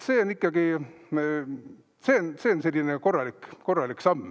See on ikkagi selline korralik samm.